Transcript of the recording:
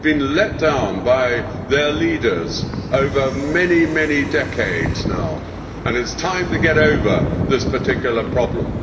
They have been let down by their leaders over many, many decades now and it is time to get over this particular problem.